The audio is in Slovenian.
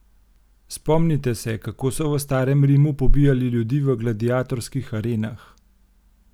Spomnite se, kako so v starem Rimu pobijali ljudi v gladiatorskih arenah.